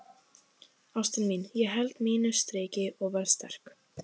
Ástin mín, ég held mínu striki og verð sterk.